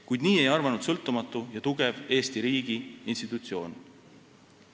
Kuid nii ei arvanud sõltumatu ja tugev Eesti riigi institutsioon.